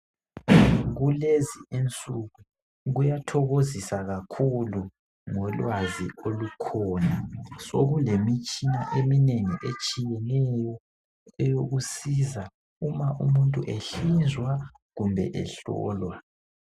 Kulezi insuku kuyathokozisa kakhulu ngolwazi olukhona. Sokulemitshina eminengi etshiyeneyo eyokusiza uma umuntu ehlinzwa kumbe ehlowa.